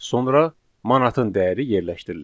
Sonra manatın dəyəri yerləşdirilir.